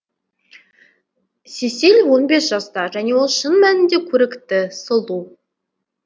сесиль он бес жаста және ол шын мәнінде көрікті сұлу